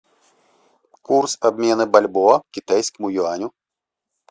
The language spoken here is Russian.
курс обмена бальбоа к китайскому юаню